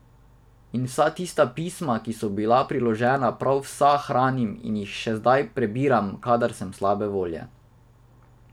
In vsa tista pisma, ki so bila priložena, prav vsa hranim in jih še zdaj prebiram, kadar sem slabe volje.